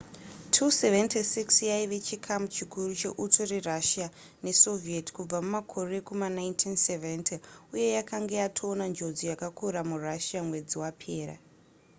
il-76 yaive chikamu chikuru cheuto rerussia nesoviet kubvira mumakore ekuma 1970 uye yanga yatoona njodzi yakakura murussia mwedzi wapera